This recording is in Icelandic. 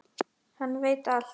Hann veit allt!